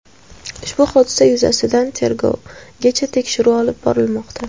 Ushbu hodisa yuzasidan tergovgacha tekshiruv olib borilmoqda.